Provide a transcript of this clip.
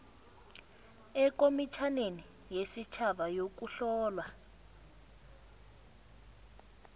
ekomitjhaneni yesitjhaba yokuhlolwa